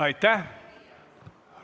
Aitäh!